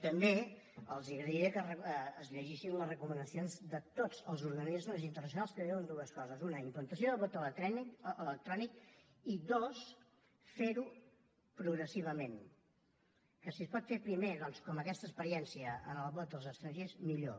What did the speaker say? també els agrairé que es llegeixin les recomanacions de tots els organismes internacionals que diuen dues coses una implantació del vot electrònic i dos fer ho progressivament que si es pot fer primer doncs com aquesta experiència en el vot dels estrangers millor